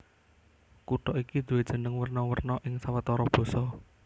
Kutha iki duwé jeneng werna werna ing sawetara basa